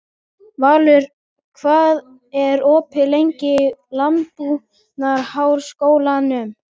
Valur, hvað er opið lengi í Landbúnaðarháskólanum?